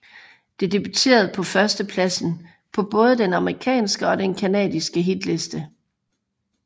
Det debuterede på førstepladsen på både den amerikanske og den canadiske hitliste